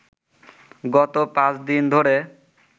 গত পাঁচদিন ধরে